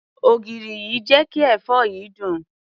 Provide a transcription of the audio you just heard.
Ògìrì yìí jé kí èfó yìí dùn.